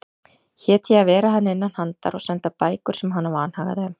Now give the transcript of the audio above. Hét ég að vera henni innanhandar og senda bækur sem hana vanhagaði um.